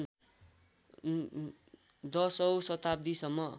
१० औँ शताब्दीसम्म